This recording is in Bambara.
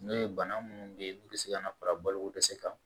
N'o ye bana munnu be yen n'u be se ka na fara balo ko dɛsɛ kan